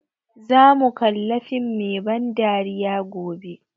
Za mu kalla fim mai ban dariya gobe